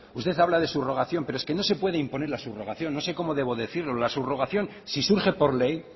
usted habla de subrogación pero es que no se puede imponer la subrogación no sé cómo debo decirlo la subrogación si surge por ley